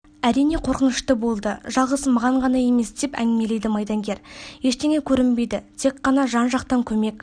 әрине қорқынышты болды жалғыз маған ғана емес деп әңгімелейді майдангер ештеңе көрінбейді тек ғана жан-жақтан көмек